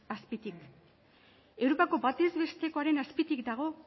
azpitik europako batez bestekoaren azpitik dago